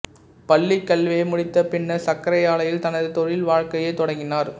பள்ளி கல்வியை முடித்த பின்னர் சர்க்கரை ஆலையில் தனது தொழில் வாழ்க்கையைத் தொடங்கினார்